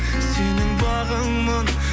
сенің бағыңмын